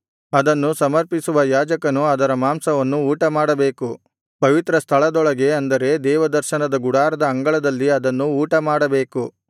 ಅದನ್ನು ಸಮರ್ಪಿಸುವ ಯಾಜಕನು ಅದರ ಮಾಂಸವನ್ನು ಊಟಮಾಡಬೇಕು ಪವಿತ್ರಸ್ಥಳದೊಳಗೆ ಅಂದರೆ ದೇವದರ್ಶನದ ಗುಡಾರದ ಅಂಗಳದಲ್ಲಿ ಅದನ್ನು ಊಟಮಾಡಬೇಕು